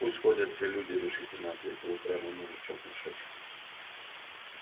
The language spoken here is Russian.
пусть ходят все люди решительно ответил упрямый мужичок в мешочке